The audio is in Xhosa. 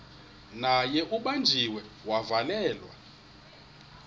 naye ubanjiwe wavalelwa